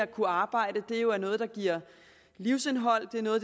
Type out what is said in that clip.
kunne arbejde er noget der giver livsindhold det er noget